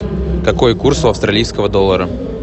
какой курс у австралийского доллара